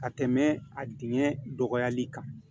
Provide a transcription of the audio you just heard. Ka tɛmɛ a dingɛ dɔgɔyali kan